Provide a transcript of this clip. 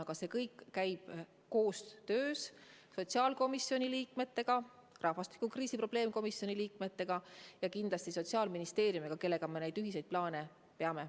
Aga see kõik käib koostöös sotsiaalkomisjoni liikmetega, rahvastikukriisi probleemkomisjoni liikmetega ja kindlasti Sotsiaalministeeriumiga, kellega me ühiseid plaane peame.